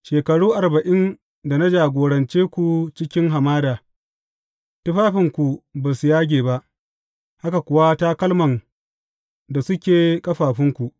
Shekaru arba’in da na jagorance ku cikin hamada, tufafinku ba su yage ba, haka kuwa takalman da suke a ƙafafunku.